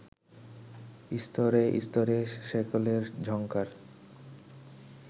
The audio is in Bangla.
স্তরে স্তরে শেকলের ঝংকার